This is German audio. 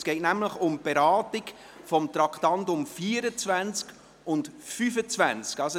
Es geht um die Beratung der Traktanden 24 und 25.